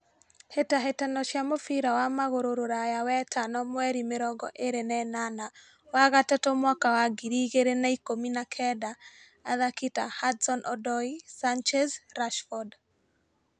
Hĩtahĩtano cĩa mũbira wa magũru ruraya wetano mweri mĩrongo ĩrĩ na ĩnana wa gatatu mwaka wa ngiri igĩrĩ na na ikũmi na Kenda :athaki ta Hudson Odoi, Sanchez , Rashford ,